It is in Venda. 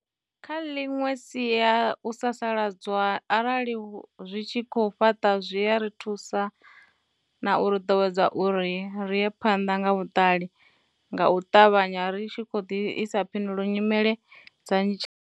Kha ḽiṅwe sia u sasaladzwa arali zwi tshi khou fhaṱa zwi a ri thusa na uri ḓowedza uri ri ye phanda nga vhuṱali nga u ṱavhanya ri tshi khou ḓisa phindulo ya nyimele dza tshi.